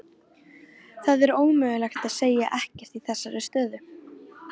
Það er ómögulegt að segja ekkert í þessari stöðu.